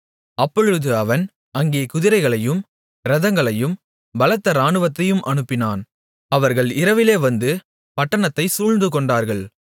அப்பொழுது அவன் அங்கே குதிரைகளையும் இரதங்களையும் பலத்த இராணுவத்தையும் அனுப்பினான் அவர்கள் இரவிலே வந்து பட்டணத்தை சூழ்ந்துகொண்டார்கள்